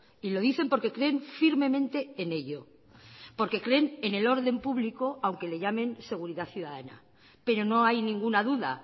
y lo dicen porque creen firmemente en ello porque creen en el orden público aunque le llamen seguridad ciudadana pero no hay ninguna duda